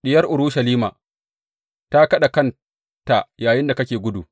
Diyar Urushalima ta kaɗa kanta yayinda kake gudu.